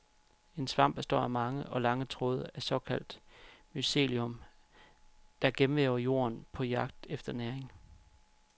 En svamp består af mange og lange tråde af såkaldt mycelium , der gennemvæver jorden på jagt efter næring.